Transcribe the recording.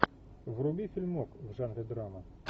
вруби фильмок в жанре драма